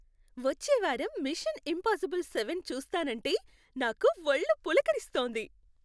వచ్చే వారం Mission Impossible seven చూస్తాన్నంటే నాకు వళ్ళు పులకరిస్తోంది.